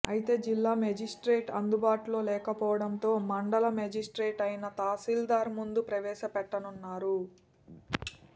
అయితే జిల్లా మేజిస్ట్రేట్ అందుబాటులో లేకపోవడంతో మండల మేజిస్ట్రేట్ అయిన తహాసీల్దార్ ముందు ప్రవేశ పెట్టనున్నారు